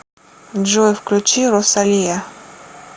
джой включи росалия